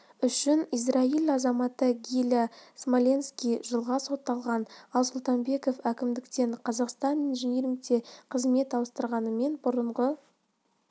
үшін израиль азаматы гиля смоленский жылға сотталған ал сұлтанбеков әкімдіктен қазақстан инжинирингке қызмет ауыстырғанымен бұрынғы